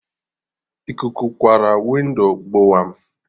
Ikuku kwarụ windo gbowam!